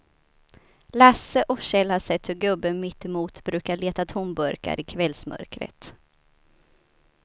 Lasse och Kjell har sett hur gubben mittemot brukar leta tomburkar i kvällsmörkret.